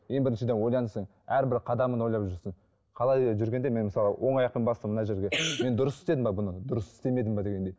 ең біріншіден ойлансын әрбір қадамын ойлап жүрсін қалай жүргенде мен мысалы оң аяқпен бастым мына жерге мен дұрыс істедім бе бұны дұрыс істемедім бе дегендей